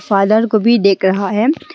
Father को भी देख रहा है।